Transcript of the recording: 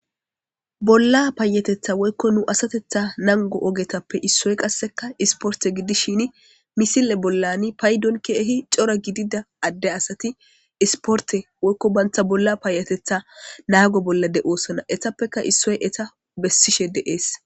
Bolla paayatetha woykko nu asatetha nango ogetappe issoy qasseka isporte gidishini misile bollani paydon keehi cora gidida adde asati isporte woykko banta bolla paayatetha naago bolla de'oosonna .Etappeka issoy eta bessishe dees.